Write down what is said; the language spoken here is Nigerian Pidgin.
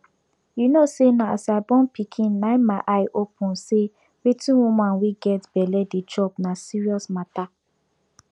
u know say na as i born pikin na my eye open say wetin woman wey get belle dey chop na serious mata